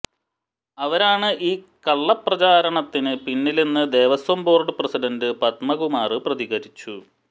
അവരാണ് ഈ കള്ളപ്രചാരണത്തിന് പിന്നിലെന്ന് ദേവസ്വം ബോര്ഡ് പ്രസിഡന്റ് പദ്മകുമാര് പ്രതികരിച്ചു